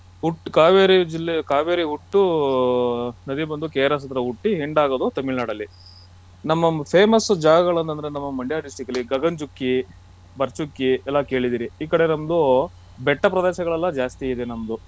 ಹುಟ್ಟು ಕಾವೇರಿ ಜಿಲ್ಲೆ ಕಾವೇರಿ ಹುಟ್ಟು ನದಿ ಬಂದು KRS ಹತ್ರ ಹುಟ್ಟಿ end ಆಗೋದು ತಮಿಳ್ ನಾಡಲ್ಲಿ ನಮ್ಮ famous ಜಾಗಗಳ್ ಅಂತಂದ್ರೆ ನಮ್ಮ ಮಂಡ್ಯ district ಅಲ್ಲಿ ಗಗನ ಚುಕ್ಕಿ , ಬರಚುಕ್ಕಿ ಎಲ್ಲ ಕೇಳಿದಿರಿ ಈ ಕಡೆ ನಮ್ದು ಬೆಟ್ಟ ಪ್ರದೇಶಗಳೆಲ್ಲ ಜಾಸ್ತಿ ಇದೆ ನಮ್ದು.